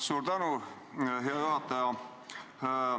Suur tänu, hea juhataja!